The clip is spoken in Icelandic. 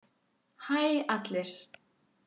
Hæ allir!